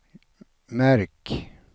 märk